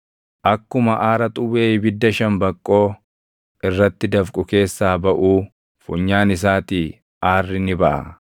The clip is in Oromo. Akkuma aara xuwwee ibidda shambaqqoo irratti dafqu keessaa baʼuu funyaan isaatii aarri ni baʼa.